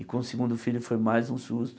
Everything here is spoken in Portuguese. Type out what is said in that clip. E com o segundo filho foi mais um susto.